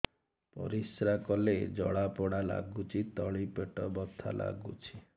ପରିଶ୍ରା କଲେ ଜଳା ପୋଡା ଲାଗୁଚି ତଳି ପେଟ ବଥା ଲାଗୁଛି